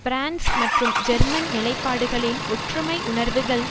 France மற்றும் German நிலைப்பாடுகளில் ஒற்றுமை உணர்வுகள்